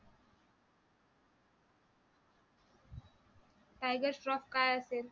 Tiger Shroff हा काय असेल?